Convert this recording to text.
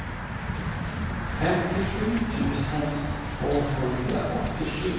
femtiosju tusen tvåhundraåttiosju